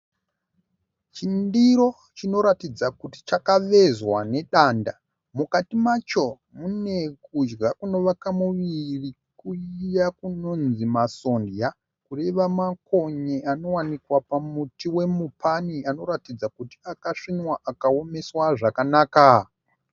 Chindiro chinoratidza kuti chakavezwa nedanda. Mukati macho mune kudya kunovaka muviri kuya kunonzi masonja kureva makonye anowanikwa pamuti wemupani anoratidza kuti akasvinwa akaomeswa zvakanaka.